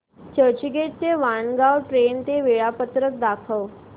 चर्चगेट ते वाणगांव ट्रेन चे वेळापत्रक दाखव